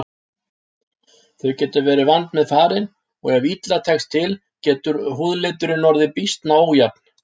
Þau geta verið vandmeðfarin og ef illa tekst til getur húðliturinn orðið býsna ójafn.